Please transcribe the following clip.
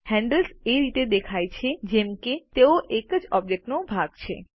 handles એ રીતે દેખાય છે જેમ કે તેઓ એક ઓબ્જેક્ટનો ભાગ છે